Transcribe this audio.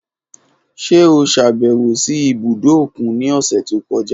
Ṣe o ṣabẹwo si ibudo okun ni ọsẹ to kọja?